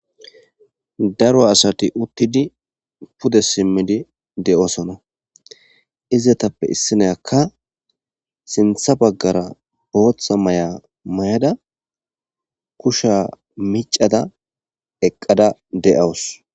Daaro aasti uutidi pude simidi de7osona izetappe issiniyaka sinththa baggara boththa mayo mayada macciya kushshe miccada eqqada de'awusu.